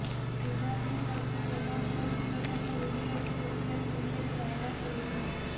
ସିଦ୍ଧାର୍ଥ ଓ ରଶ୍ମି ରୋମାନ୍ସ କରୁଥିବାର ଏକ ଭିଡିଓ ଏବେ ସୋଶାଲ୍ ମିଡିଆରେ ଭାଇରାଲ ହେଉଛି